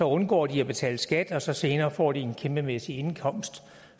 undgår de at betale skat og så senere får de en kæmpemæssig indkomst